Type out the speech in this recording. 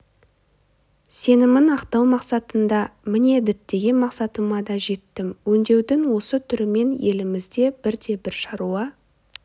сенімін ақтау мақсатында міне діттеген мақсатыма да жеттім өңдеудің осы түрімен елімізде бірде бір шаруа